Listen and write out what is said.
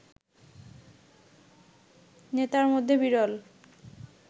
নেতার মধ্যে বিরল